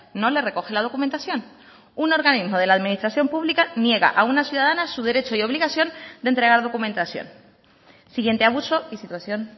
no le recoge la documentación un organismo de la administración pública niega a una ciudadana su derecho y obligación de entregar documentación siguiente abuso y situación